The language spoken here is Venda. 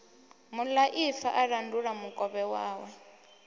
muḽaifa a landula mukovhe wawe